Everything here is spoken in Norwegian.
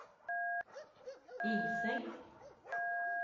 Ilseng